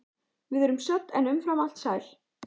Við erum södd en umfram allt sæl.